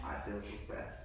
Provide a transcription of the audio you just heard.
Ej det var da forfærdeligt